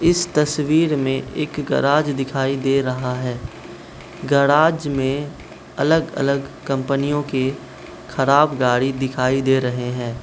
इस तस्वीर में एक गैराज दिखाई दे रहा है गैराज में अलग अलग कंपनियों के खराब गाड़ी दिखाई दे रहे हैं।